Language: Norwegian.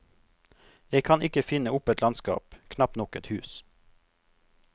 Jeg kan ikke finne opp et landskap, knapt nok et hus.